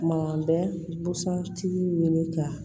Kuma bɛ busan tigi ɲini ka